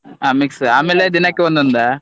ಹಾ mix ಆಮೇಲೆ ದಿನಕ್ಕೆ ಒಂದೊಂದಾ?